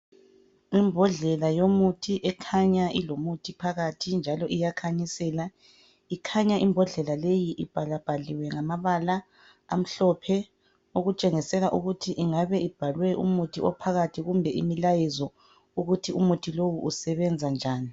Imbodlela yomuthi ekhanya ilomuthi phakathi njalo iyakhanyisela. Ikhanya imbodlela leyi ibhalabhaliwe ngamabala amhlophe okutshengisela ukuthi ingabe ibhalwe umuthi ophakathi kumbe imilayezo ukuthi umuthi lowu usebenza njani.